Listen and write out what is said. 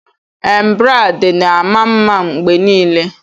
Embrade na-ama mma mgbe niile